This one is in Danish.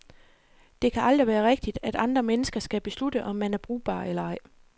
Det kan aldrig være rigtigt, at andre mennesker skal beslutte, om man er brugbar eller ej.